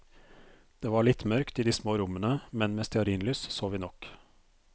Det var litt mørkt i de små rommene, men med stearinlys så vi nok.